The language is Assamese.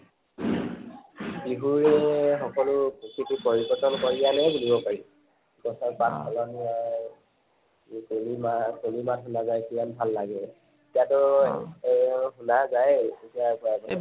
বিহুৰে সকলো প্ৰকৃতি পৰিবৰ্তন কৰি আনে বুলিব পাৰি। গছৰ পাত সলনি হয়। পূৰ্ণিমা, পূৰ্ণিমা সোমায় যায়, কিমান ভাল লগে। তেতিয়াটো শুনা যায়েই